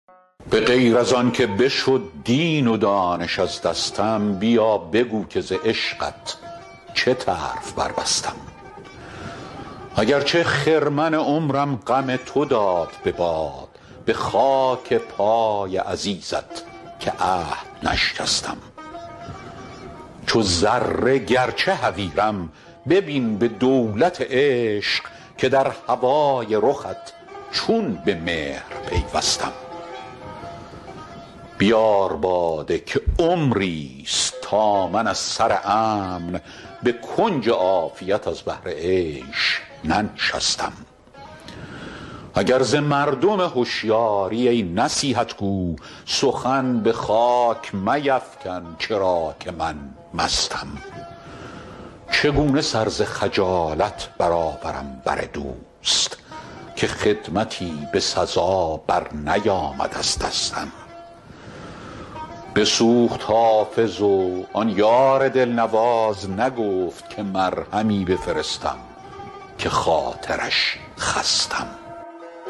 به غیر از آن که بشد دین و دانش از دستم بیا بگو که ز عشقت چه طرف بربستم اگر چه خرمن عمرم غم تو داد به باد به خاک پای عزیزت که عهد نشکستم چو ذره گرچه حقیرم ببین به دولت عشق که در هوای رخت چون به مهر پیوستم بیار باده که عمریست تا من از سر امن به کنج عافیت از بهر عیش ننشستم اگر ز مردم هشیاری ای نصیحت گو سخن به خاک میفکن چرا که من مستم چگونه سر ز خجالت برآورم بر دوست که خدمتی به سزا برنیامد از دستم بسوخت حافظ و آن یار دلنواز نگفت که مرهمی بفرستم که خاطرش خستم